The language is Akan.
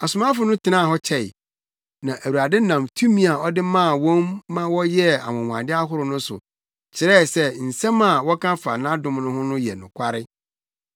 Asomafo no tenaa hɔ kyɛe. Na Awurade nam tumi a ɔde maa wɔn ma wɔyɛɛ anwonwade ahorow no so kyerɛɛ sɛ nsɛm a wɔka fa nʼadom ho no yɛ nokware.